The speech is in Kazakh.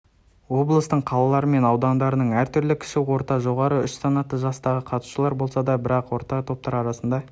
облыстың қалалары мен аудандарының әртүрлі кіші орта жоғары үш санатты жастағы қатысушылар болсада бірақта топтар арасында